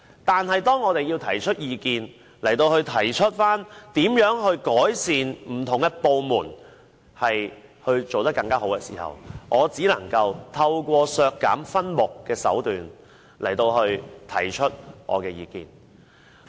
但是，當我們提出意見，提出如何改善不同部門，令他們做得更好的時候，我只能夠透過削減分目的手段來提出我的意見。